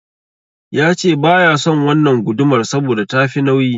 Yace baya son wannan gudumar saboda tafi nauyi.